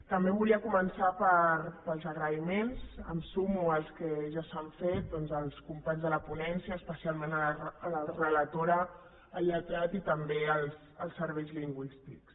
també volia començar pels agraïments em sumo als que ja s’han fet als companys de la ponència especialment a la relatora al lletrat i també als serveis lingüístics